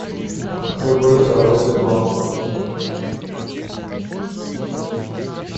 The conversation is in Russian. хб второй сезон